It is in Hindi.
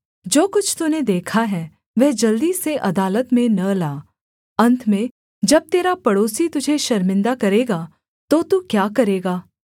जो कुछ तूने देखा है वह जल्दी से अदालत में न ला अन्त में जब तेरा पड़ोसी तुझे शर्मिंदा करेगा तो तू क्या करेगा